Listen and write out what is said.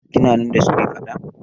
Kina nan da suka yi faɗa?